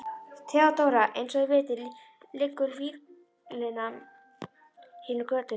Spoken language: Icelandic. THEODÓRA: Eins og þið vitið liggur víglína hér um götuna.